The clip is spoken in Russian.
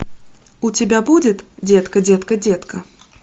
у тебя будет детка детка детка